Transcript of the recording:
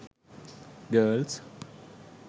grils